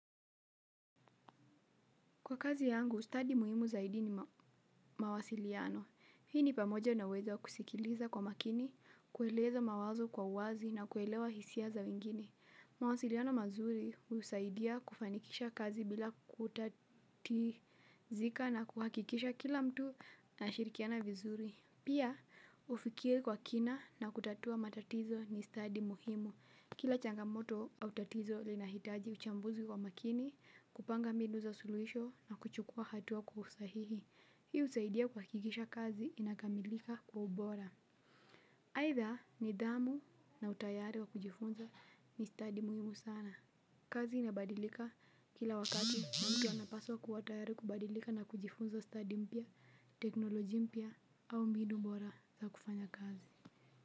Kwa kazi yangu, stadi muhimu zaidi ni mawasiliano. Hii ni pamoja naweza kusikiliza kwa makini, kueleza mawazo kwa wazi na kuelewa hisia za wengine. Mawasiliano mazuri husaidia kufanikisha kazi bila kutatizika na kuhakikisha kila mtu na shirikiana vizuri. Pia, ufikiri kwa kina na kutatua matatizo ni stadi muhimu. Kila changamoto au tatizo linahitaji uchambuzi kwa makini, kupanga mbinu za suluhisho na kuchukua hatua kwa uhusahihi. Hii husaidia kuhakikisha kazi inakamilika kwa ubora. Aitha nidhamu na utayari wa kujifunza ni stadi muhimu sana. Kazi inabadilika kila wakati na mtu anapaswa kuwa tayari kubadilika na kujifunza stadi mpya, teknolojia mpya au mbinu bora za kufanya kazi.